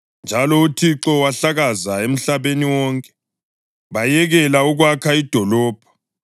Kanjalo uThixo wabahlakaza emhlabeni wonke, bayekela ukwakha idolobho.